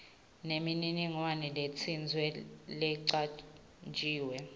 nemininingwane letsite lecanjiwe